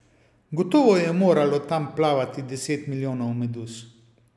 Gotovo je moralo tam plavati deset milijonov meduz.